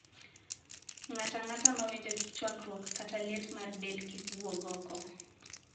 Ng`atang`ata mawinjo chwakruok kata liet mar del kik wuog oko.